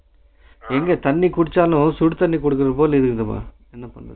எங்க தண்ணி குடிச்சாலும் சுடுத்தண்ணி குடிக்கிறபோல இருக்குப்பா என்ன பண்றது